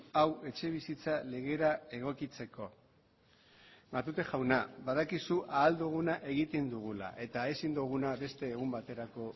hau etxebizitza legera egokitzeko matute jauna badakizu ahal duguna egiten dugula eta ezin duguna beste egun baterako